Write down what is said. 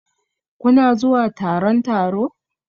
Kuna zuwa taron taro?